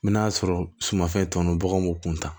N bɛ n'a sɔrɔ sumanfɛn tɔ ninnu baganw b'u kun ta